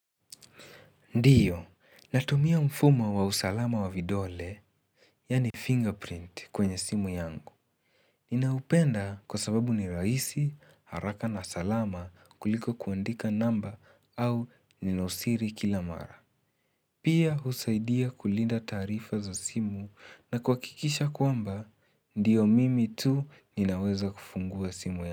Ndiyo, natumia mfumo wa usalama wa vidole, yaani fingerprint kwenye simu yangu. Ninaupenda kwa sababu ni rahisi, haraka na salama kuliko kuandika namba au ninosiri kila mara. Pia husaidia kulinda taarifa za simu na kwa kuhakikisha kwamba, ndiyo mimi tu ninaweza kufungua simu yangu.